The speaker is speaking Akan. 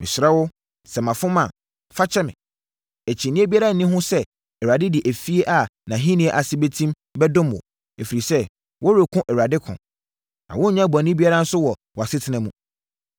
“Mesrɛ wo, sɛ mafom a, fa kyɛ me. Akyinnyeɛ biara nni ho sɛ Awurade de efie a nʼahennie ase bɛtim bɛdom wo, ɛfiri sɛ, woreko Awurade ko. Na wonyɛɛ bɔne biara nso wɔ wʼasetena mu.